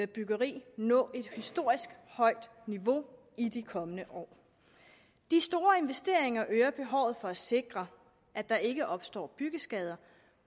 byggeri nå et historisk højt niveau i de kommende år de store investeringer øger behovet for at sikre at der ikke opstår byggeskader